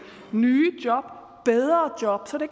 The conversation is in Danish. nye job bedre job så det